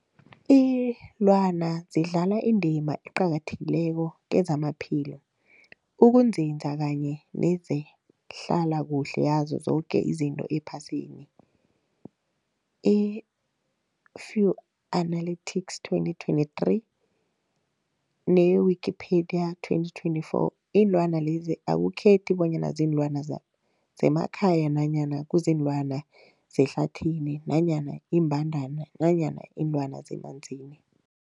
Iinlwana zidlala indima eqakathekileko kezamaphilo, ukunzinza kanye nezehlala kuhle yazo zoke izinto ephasini, Fuanalytics 2023, ne-Wikipedia 2024. Iinlwana lezi akukhethi bonyana ziinlwana zemakhaya nanyana kuziinlwana zehlathini nanyana iimbandana nanyana iinlwana zemanzini.